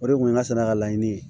O de kun ye ŋa sɛnɛkalaɲini